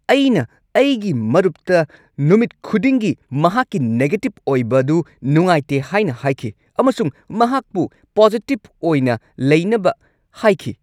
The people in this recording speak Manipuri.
ꯑꯩꯅ ꯑꯩꯒꯤ ꯃꯔꯨꯞꯇ ꯅꯨꯃꯤꯠ ꯈꯨꯗꯤꯡꯒꯤ ꯃꯍꯥꯛꯀꯤ ꯅꯦꯒꯦꯇꯤꯕ ꯑꯣꯏꯕꯗꯨ ꯅꯨꯡꯉꯥꯏꯇꯦ ꯍꯥꯏꯅ ꯍꯥꯏꯈꯤ ꯑꯃꯁꯨꯡ ꯃꯍꯥꯛꯄꯨ ꯄꯣꯖꯤꯇꯤꯕ ꯑꯣꯏꯅ ꯂꯩꯅꯕ ꯍꯥꯏꯈꯤ꯫